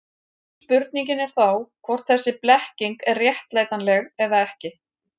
Spurningin er þá hvort þessi blekking er réttlætanleg eða ekki.